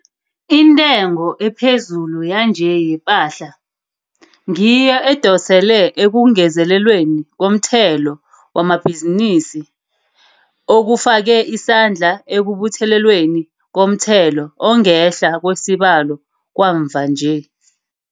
Intengo ephezulu yanje yepahla, ngiyo edosele ekungezelelweni komthelo wamabhizinisi, okufake isandla ekubuthelelweni komthelo ongehla kwesibalo kwamva-nje.